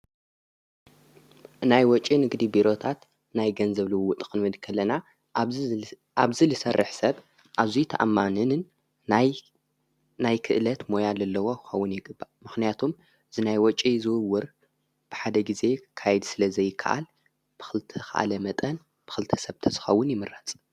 ናይ ወጭ ንግዲ ቢሮታት ናይ ገንዘብልውዊ ጥኽንበድ ከለና ኣብዝ ልሠርሕ ሰብ ኣብዙይ ተኣማንንን ናናይ ክእለት ሞያድ ኣለዉ ኣውን የግባ ምኽንያቶም ዝናይ ወጭ ዝውውር ብሓደ ጊዜ ካይድ ስለ ዘይከዓል ብዝተኽኣለ መጠን ብኽልቲ ሰብ ተዝኸውን ይምረፅ።